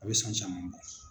A bɛ san caman bɔ.